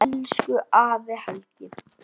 Elsku afi Helgi.